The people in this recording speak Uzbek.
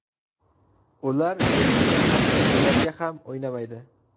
Ular ertaga hatto durangga ham o‘ynamaydi.